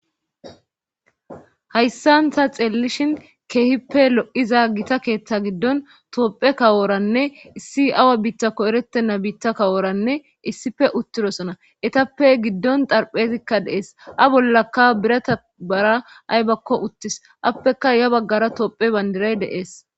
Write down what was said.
Hayssan ta xeelishin keehippe lo'iza gita keeththa gidon tophe kaworanne issi awa biitakko eretenna hara biita kawora issippe uttidosona. etappe gidon xarphezikka dees. A bollakka birata bara aybakko uttis appekka ya bagara tophiya bandiray uttis.